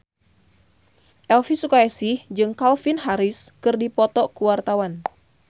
Elvy Sukaesih jeung Calvin Harris keur dipoto ku wartawan